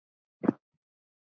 Hvað gerir Davids?